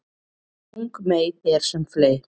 Ung mey er sem fley